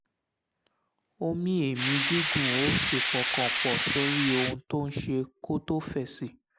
ó mí èémí gígùn ó sì pọkàn pọ̀ sórí ohun tó ń ṣe kó tó fèsì